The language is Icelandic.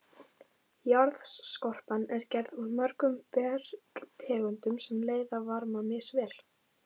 Jarðskorpan er gerð úr mörgum bergtegundum sem leiða varma misvel.